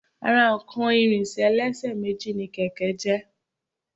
Ara nǹkan ìrìnsẹ̀ ẹlẹ́sẹ̀ méjì ni kẹ̀kẹ́ jẹ́